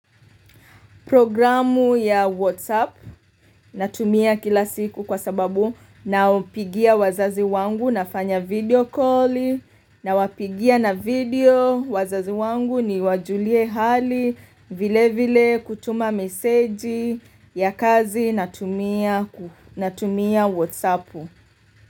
Programu ya WhatsApp natumia kila siku kwa sababu napigia wazazi wangu nafanya video calli nawapigia na video wazazi wangu niwajulie hali vile vile kutuma meseji ya kazi natumia ku natumia WhatsApp.